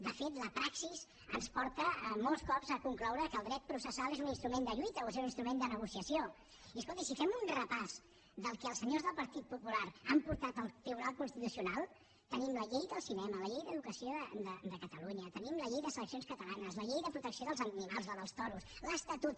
de fet la praxi ens porta molts cops a concloure que el dret processal és un instrument de lluita o és un instrument de negociació i escolti si fem un repàs del que els senyors del partit popular han portat al tribunal constitucional tenim la llei del cinema la llei d’educació de catalunya tenim la llei de seleccions catalanes la llei de protecció dels animals la dels toros l’estatut